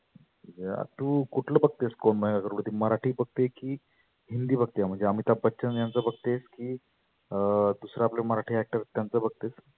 हा तु कुठलं बघतेस कोण बनेगा करोड पती मराठी बघते की हिंदी बघते म्हणजे आमिताभ बच्चन यांच बघतेस की अं दुसरे आपले मराठी actor त्यांच बघते?